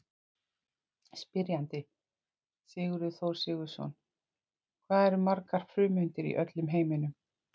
Spyrjandi: Sigurður Þór Sigurðsson Hvað eru margar frumeindir í öllum heiminum?